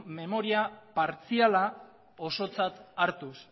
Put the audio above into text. memoria partziala osotzat hartuz